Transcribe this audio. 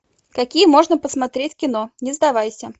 какие можно посмотреть кино не сдавайся